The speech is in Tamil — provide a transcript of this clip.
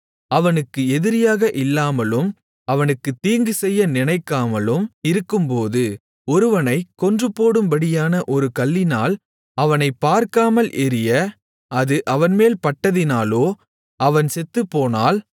அவனுக்கு எதிரியாக இல்லாமலும் அவனுக்குத் தீங்கு செய்ய நினைக்காமலும் இருக்கும்போது ஒருவனைக் கொன்றுபோடும்படியான ஒரு கல்லினால் அவனைபார்க்காமல் எறிய அது அவன்மேல் பட்டதினாலோ அவன் செத்துப்போனால்